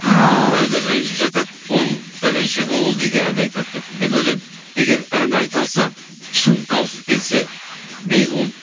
ааа біреулер ренжіп жатады ол пәленше ғой ол неге ән айтады деп мен ойлаймын егер ән айта алса шын дауысы келсе мейлі ол